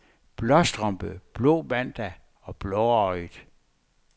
Blåstrømpe, blå mandag og blåøjet.